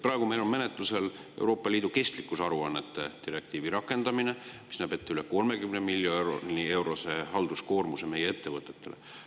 Praegu meil on menetluses Euroopa Liidu kestlikkusaruannete direktiivi rakendamine, mis näeb ette üle 30 miljoni eurose halduskoormuse meie ettevõtetele.